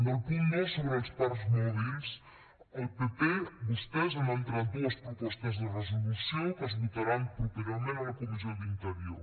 del punt dos sobre els parcs mòbils el pp vostès han entrat dues propostes de resolució que es votaran properament en la comissió d’interior